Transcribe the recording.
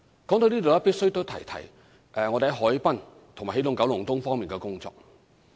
說到這裏也必須提一提我們在海濱和起動九龍東方面的工作。